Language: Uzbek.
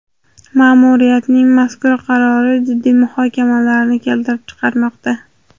Ma’muriyatning mazkur qarori jiddiy muhokamalarni keltirib chiqarmoqda.